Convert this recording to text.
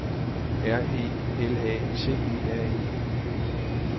R E L A T E R E